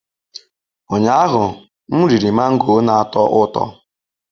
Ụnyaahụ, m riri mango na-atọ ụtọ.